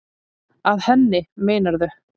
Að henni, meinarðu?